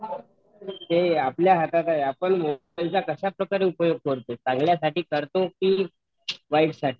ते आपल्या हातात आहे आपण मोबाइल चा कसल्यासठी उपयोग करतो चांगल्यासाठी करतो कि वाईट साठी